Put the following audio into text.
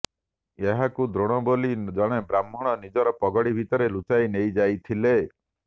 ଏହାକୁ ଦ୍ରୋଣ ବୋଲି ଜଣେ ବ୍ରାହ୍ମଣ ନିଜର ପଗଡି ଭିତରେ ଲୁଚାଇ ନେଇଯାଇଥିଲେ